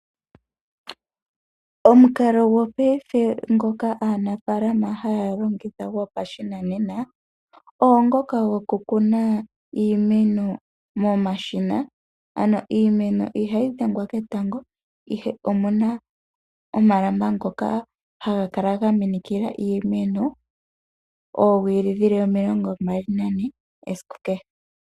Omukalo gopaife ngoka aanafaalama haya longitha gopashinanena, oongoka gokukuna iimeno momashina, ano iimeno ihayi dhengwa ketango, ihe omu na omalamba ngoka haga kala ga minikila iimeno oowili dhi li omilongombali nane esiku kehe.